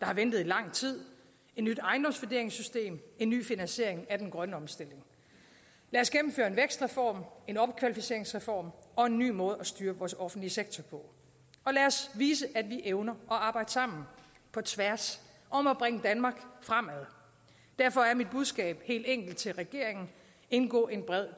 har ventet i lang tid et nyt ejendomsvurderingssystem en ny finansiering af den grønne omstilling lad os gennemføre en vækstreform en opkvalificeringsreform og en ny måde at styre vores offentlige sektor på og lad os vise at vi evner at arbejde sammen på tværs om at bringe danmark fremad derfor er mit budskab helt enkelt til regeringen indgå en bred